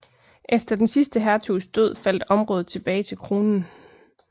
Efter den sidste hertugs død faldt området tilbage til kronen